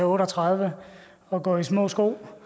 otte og tredive og går i små sko